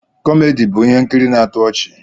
Kọmedi bụ ihe nkiri na-atọ ọchị.